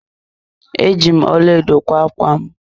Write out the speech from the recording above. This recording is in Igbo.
Eji m ọlaedo kwa ákwá m.